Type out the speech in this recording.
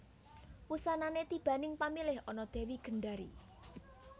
Wusanane tibaning pamilih ana Dewi Gendari